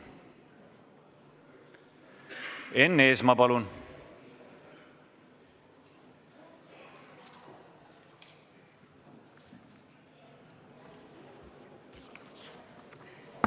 Enn Eesmaa, palun!